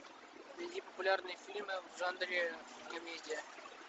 найди популярные фильмы в жанре комедия